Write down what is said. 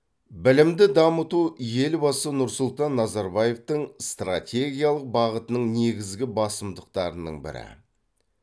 білімді дамыту елбасы нұрсұлтан назарбаевтың стратегиялық бағытының негізгі басымдықтарының бірі